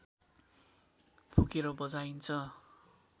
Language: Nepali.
फुकेर बजाइन्छ